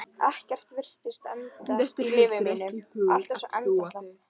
Ekkert virtist endast í lífi mínu, allt var svo endasleppt.